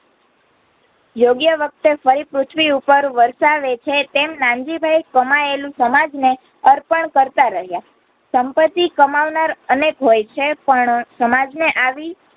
યોગ્ય વકતે ફરી પૃથવીઉપર વરસાવેછે તેમ નાનજીભાઈ કમાયેલું સમાજને અર્પણ કરતાં રહયા સંપતિ કામવનર અનેક હોયછે પણ સમાજને આવી